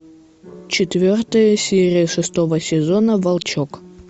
четвертая серия шестого сезона волчок